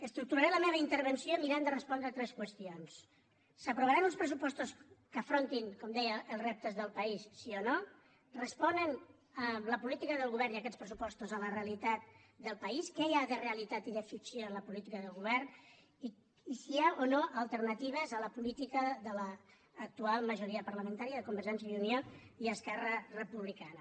estructuraré la meva intervenció mirant de respondre tres qüestions s’aprovaran uns pressupostos que afrontin com deia els reptes del país si o no responen la política del govern i aquests pressupostos a la realitat del país què hi ha de realitat i de ficció en la política del govern i si hi ha o no alternatives a la política de l’actual majoria parlamentària de convergència i unió i esquerra republicana